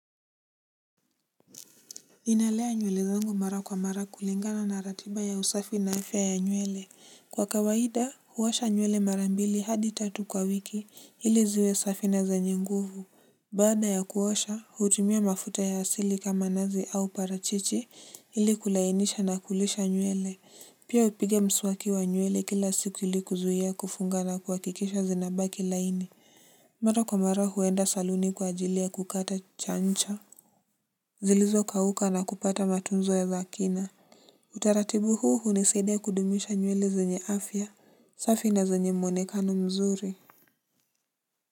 Ninalea nywele zangu mara kwa mara kulingana na ratiba ya usafi na afya ya nywele kwa kawaida huosha nywele mara mbili hadi tatu kwa wiki ili ziwe safi na zanyi nguvu baada ya kuosha hutumia mafuta ya asili kama nazi au parachichi ili kulainisha na kulisha nywele pia hupiga mswaki wa nywele kila siku ili kuzuia kufunga na kuhakikisha zinabaki laini mara kwa mara huenda saluni kwa ajili ya kukata chancha zilizokauka na kupata matunzo ya zakina. Utaratibu huu hunisaidia kudumisha nywele zenye afya safi na zenye mwonekano mzuri.